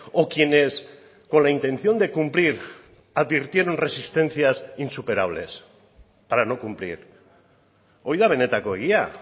o quienes con la intención de cumplir advirtieron resistencias insuperables para no cumplir hori da benetako egia